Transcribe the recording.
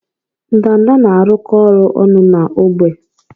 Ndanda na-arụkọ ọrụ ọnụ na ógbè.